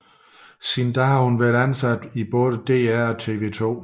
Siden da har hun været ansat i både DR og TV 2